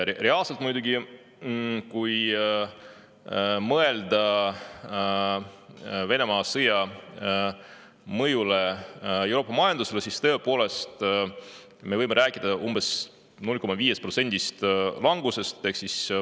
Reaalselt muidugi, kui mõelda Venemaa sõja mõjule Euroopa majandusele, siis me võime rääkida umbes 0,5%‑lisest langusest.